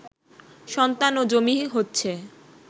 সন্তান ও জমি হচ্ছে